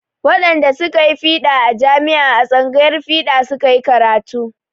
Wadanda su ka koyi fiɗa a jami'a a tsangayar fiɗa su ka yi karatu.